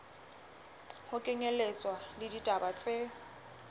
ho kenyelletswa le ditaba tse